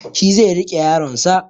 Shi zai riƙe yaronsa